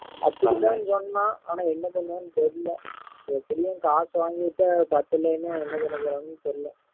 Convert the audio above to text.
அப்படி தான் சொன்னான் ஆனா என்ன பண்ணுவான்னு தெரியல எப்படியும் காசு வாங்கிட்டு பத்தலன்னு என்ன பண்ண போறாங்கன்னு தெரியல